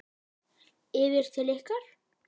Yfir til ykkar?